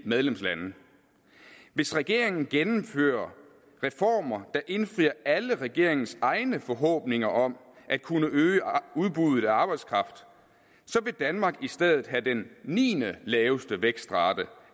medlemslande hvis regeringen gennemfører reformer der indfrier alle regeringens egne forhåbninger om at kunne øge udbuddet af arbejdskraft vil danmark i stedet have den niendelaveste vækstrate